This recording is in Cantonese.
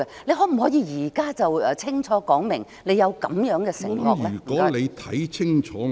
你可否現在清楚說明，你有這樣的承諾呢？